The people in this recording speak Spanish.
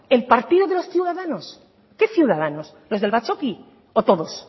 el partido de los ciudadanos qué ciudadanos los del batzoki o todos